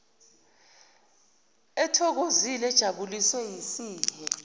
ethokozile ejabuliswe yisihe